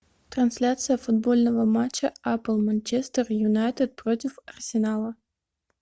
трансляция футбольного матча апл манчестер юнайтед против арсенала